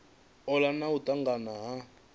ola na u tanganya ha